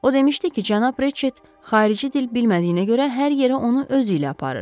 O demişdi ki, cənab Reşet xarici dil bilmədiyinə görə hər yerə onu özü ilə aparır.